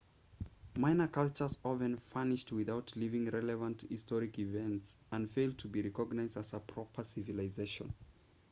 minor cultures often vanish without leaving relevant historic evidence and fail to be recognized as proper civilizations